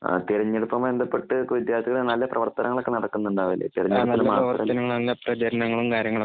തിരഞ്ഞെടുപ്പുമായി ബന്ധപ്പെട്ട വിദ്യാർത്ഥികൾ ഇപ്പോൾ നല്ല പ്രവർത്തനങ്ങൾ ഒക്കെ നടക്കുന്ന ഉണ്ടാവില്ലേ? തിരഞ്ഞെടുപ്പിനുമാത്രം.